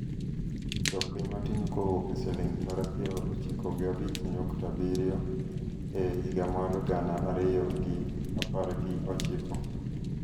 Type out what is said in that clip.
dok piny matin kowuok e siling tara piero ochiko gi abich nyukta abiriyo e higa mar gana ariyo gi apar gi ochiko